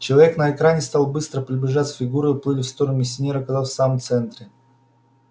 человек на экране стал быстро приближаться фигуры уплыли в стороны и миссионер оказался в самом центре